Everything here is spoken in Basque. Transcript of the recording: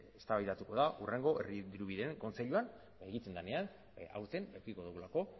eztabaidatuko da hurrengo herri dirubideen kontseiluan egiten denean aurten edukiko dugulako